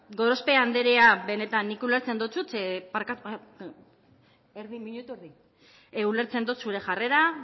gorospe andrea benetan nik ulertzen dotzut barkatu erdi minutu erdi ulertzen dot zure jarrera